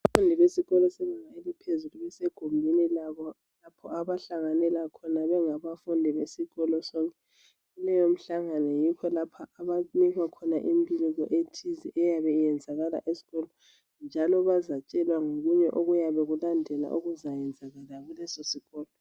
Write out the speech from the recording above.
Abafundi besesikolo sebanga ephezulu, basegumbini labo, lapho abahlanganela khona, bengabafundi besikolo sonke. Leyomihlangano, yikho lapha abanikwa khona imbiko, ethize eyabe iyenzakala esikolo, njalo bazatshelwa ngokunye okuyabe kulandela, okuzayenzakala, kulesosikolo.